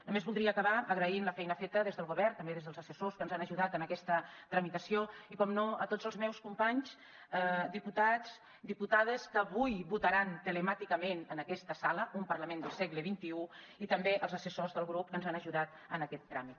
només voldria acabar agraint la feina feta des del govern també des dels assessors que ens han ajudat en aquesta tramitació i per descomptat a tots els meus companys diputats diputades que avui votaran telemàticament en aquesta sala un parlament del segle xxi i també als assessors del grup que ens han ajudat en aquest tràmit